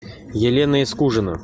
елена искужина